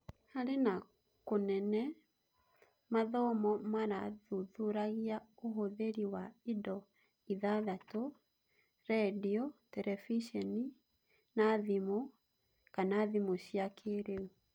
Harĩ na kũnene, mathomo marathuthuragia ũhũthĩri wa indo ithathatũ: rendio, terebiceni, na thimũ / thimũ cia kĩrĩu.